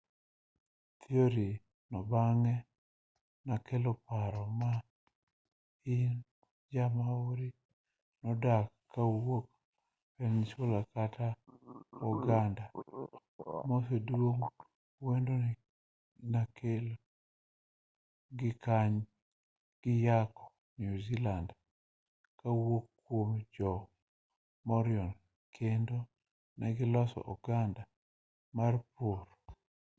thiori no bang'e nokelo paro mar ni jo-maori nodar kowuok polynesia kod oganda maduong' kendo ne giyako new zealand kowuok kuom jo-moriori kendo ne giloso oganda mar jopur